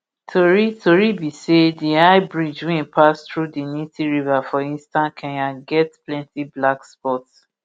tori tori be say di high bridge wey pass thru di nithi river for eastern kenya get plenti black spots